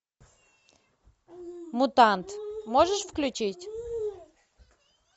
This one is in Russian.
мутант можешь включить